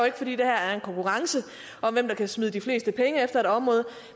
ikke fordi der er en konkurrence om hvem der kan smide de fleste penge efter et område